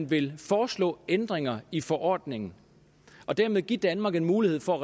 vil foreslå ændringer i forordningen og dermed give danmark en mulighed for